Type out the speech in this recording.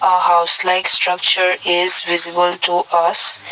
a house like structure is visible to us.